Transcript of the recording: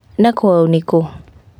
Na kwao nĩ kũ?